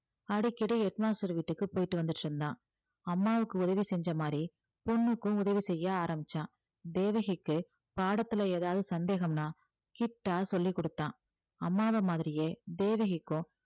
அடிக்கடி head master வீட்டுக்கு போயிட்டு வந்துட்டு இருந்தான் அம்மாவுக்கு உதவி செஞ்ச மாதிரி பொண்ணுக்கும் உதவி செய்ய ஆரம்பிச்சான் தேவகிக்கு பாடத்துல ஏதாவது சந்தேகம்னா கிட்டா சொல்லிக்கொடுத்தான் அம்மாவ மாதிரியே தேவகிக்கும்